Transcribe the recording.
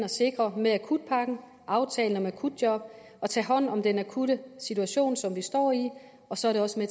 med akutpakken og aftalen om akutjob at tage hånd om den akutte situation som vi står i og så er det også